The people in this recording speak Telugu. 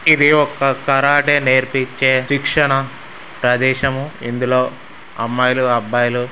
ఇది ఒక కరాటి నేర్పించే శిక్షణ ప్రదేశము ఇందులో అమ్మాయిలు అబ్బాయిలు--